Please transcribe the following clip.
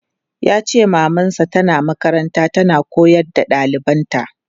Yace maman sa tana makaranta tana koyar da ɗalibanta.